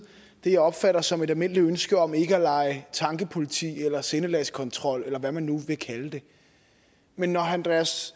det som jeg opfatter som et almindeligt ønske om ikke at lege tankepoliti eller sindelagskontrol eller hvad man nu vil kalde det men når herre andreas